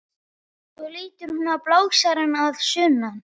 Svo lítur hún á blásarann að sunnan.